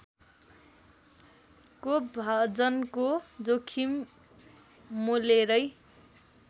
कोपभाजनको जोखिम मोलेरै